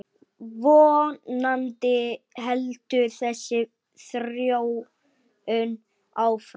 Vonandi heldur þessi þróun áfram.